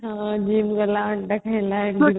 ହଁ gym ଗଲା ଅଣ୍ଡା ଖାଇଲା